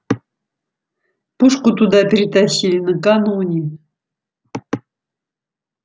пушку туда перетащили накануне